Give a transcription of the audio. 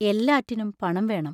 എല്ലാറ്റിനും പണം വേണം.